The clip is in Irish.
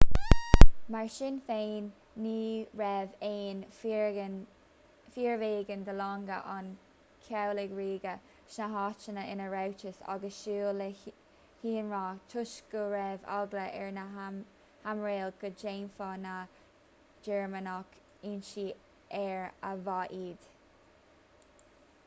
mar sin féin ní raibh ach fíorbheagán de longa an chabhlaigh ríoga sna háiteanna ina rabhthas ag súil le hionradh toisc go raibh eagla ar na haimiréil go ndéanfadh na gearmánaigh ionsaí aeir a bhádh iad